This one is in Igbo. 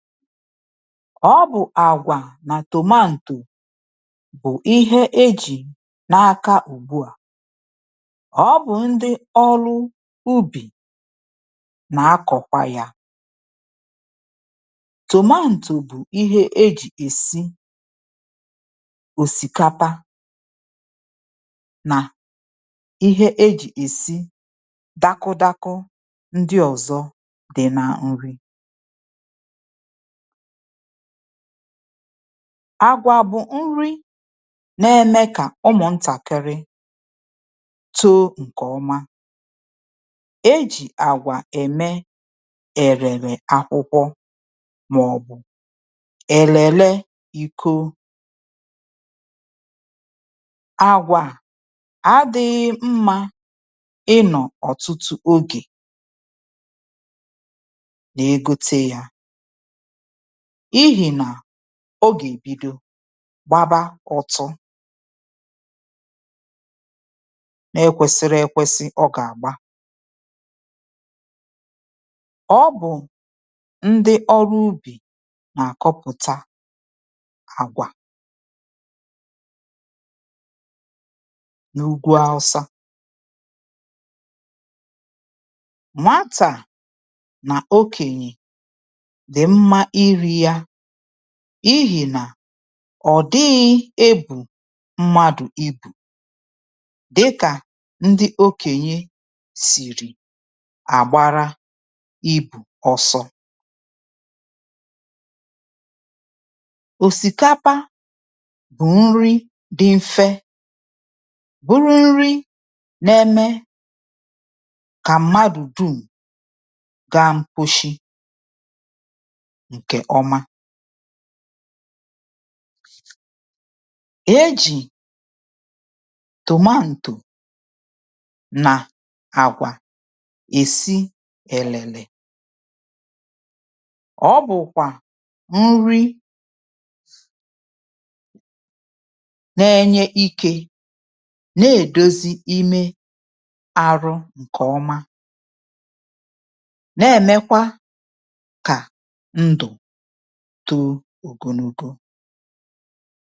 Ọ bụ̀ àgwà nà tọmantò bụ̀ ihe ejì n’aka ùbuà. Ọ bụ̀ ndị ọlụ̇ ubì nà-akọ̀kwa yȧ. Tọmantò bụ̀ ihe ejì èsi òsìkapa nà ihe ejì èsi dakụdakọ ndị ọ̀zọ dị̀ nà nri. Agwà bụ̀ nri na-eme kà ụmụ̀ ntàkiri too ǹkèọma. E jì àgwà ème èrèlè akwụkwọ màọ̀bụ̀ èlèle iko. Agwà à adị̇ghị mmȧ ịnọ̀ ọ̀tụtụ̀ ogè ma-egote yȧ n'ihina ọ gà-èbido gbaba ụ̇tụ̇. na-ekwesịrị ekwesị ọ gà-àgba. Ọ bụ̀ ndị ọrụ ubì nà-àkọpụ̀ta àgwà n’ugwu awụsa. Nwata na okenye dị mma iri ya ihì nà ọ̀ dịghị̇ ebù mmadụ̀ ibù dịkà ndị okènyè sìrì àgbara ibù ọsọ. Osikapa bu nri dị mfe bụrụ nri na-eme ka mmadụ dum gaa kposhi nke ọma. E jì tòmantù nà àgwà èsi èlèlè. Ọ bụ̀kwà nri na-enye ikė na-èdozi imė arụ ǹkè ọma na-èmekwa kà ndụ̀ tọọ ogologo.